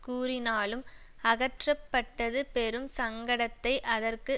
கூறினாலும் அகற்றப்பட்டது பெரும் சங்கடத்தை அதற்கு